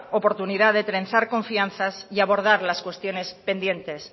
oportunidad de trenzar confianzas y abordar las cuestiones pendientes